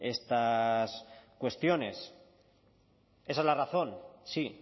estas cuestiones esa es la razón sí